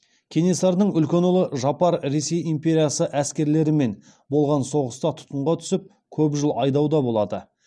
кенесарының үлкен ұлы жапар ресей империясы әскерлерімен болған соғыста тұтқынға түсіп көп жыл айдауда болады